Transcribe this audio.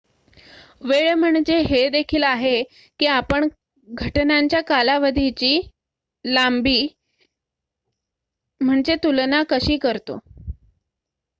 वेळ म्हणजे हे देखील आहे की आपण घटनांच्या कालावधीची लांबी तुलना कशी करतो